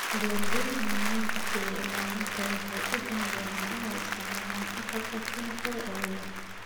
Beeralayda mudnaanta siiya ilaalinta waxay u janjeeraan inay isticmaalaan agab kiimikaad ugu yar.